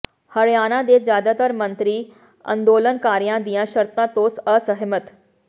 ਹਰਿਆਣਾ ਦੇ ਜ਼ਿਆਦਾਤਰ ਮੰਤਰੀ ਅੰਦੋਲਨਕਾਰੀਆਂ ਦੀਆਂ ਸ਼ਰਤਾਂ ਤੋਂ ਅਸਹਿਮਤ